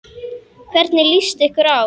Hvernig lýst ykkur á?